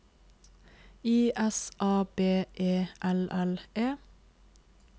I S A B E L L E